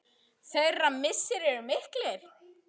Þeirra missir er mikill.